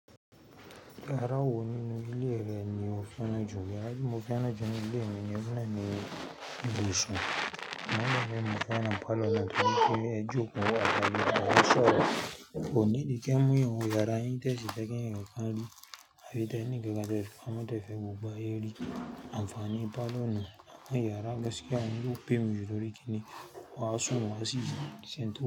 Yara woni ni le re nio feran ju, yara ti mo feran nu ni ile mi ni ibusun Mana me mu kana falo na tuni ki ye aju ko a falo a sọrọ. O ni di ke mu yi o yara yin ta si ta ke yi gaka ri, avi ta ni gaka ta fi ma ta fe bu ba yi ri. Anfani palọ ni, bi yara gaskiya wani onpay mi ju kini, wa sun wa si ji.